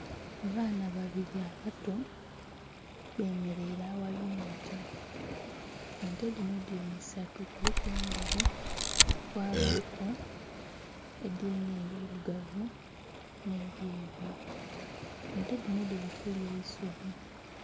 Abaana babiri abato bemeraire aghali ente, ente dhino dhiri isatu kuliku endheru, kwabaku edhiri n'ebirugavu, n'ebyeru ente dhino dhiri kulya eisubi.